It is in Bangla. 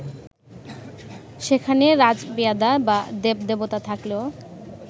সেখানে রাজপেয়াদা বা দেব-দেবতা থাকলেও